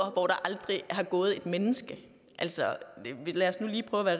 og hvor der aldrig har gået et menneske altså lad os nu lige prøve at